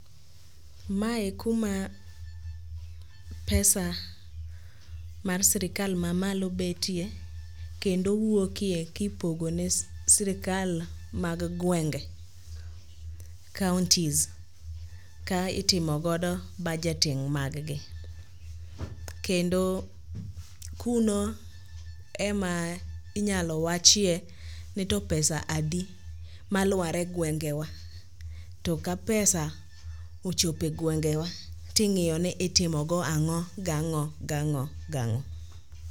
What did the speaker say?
Mae kuma pesa mar sirikal mamalo betye kendo wuokye kipogone sirikal mag gwenge; counties ka itimogodo budgeting maggi. Kendo kuno ema inyalo wachie ni to pesa adi malwar e gwengewa to ka pesa ochopo e gwengewa ting'iyo ni itimogo ang'o gang'o gang'o gang'o.